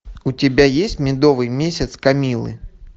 у тебя есть медовый месяц камиллы